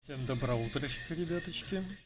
всем доброго утречка ребяточки